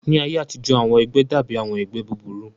Ní ayé àtijọ́, àwọn ẹgbẹ́ dàbí àwọn ẹgbẹ́ búburú